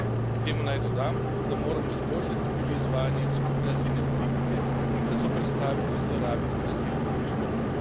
K temu naj dodam, da moramo izboljšati tudi izvajanje skupne azilne politike in se zoperstaviti zlorabi azilnih postopkov.